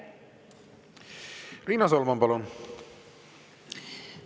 Riina Solman, palun!